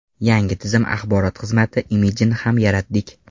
Yangi tizim axborot xizmati imidjini ham yaratdik.